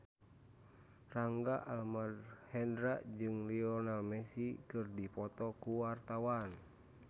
Rangga Almahendra jeung Lionel Messi keur dipoto ku wartawan